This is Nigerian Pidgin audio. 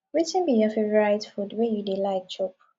wetin be your favourite food wey you dey like chop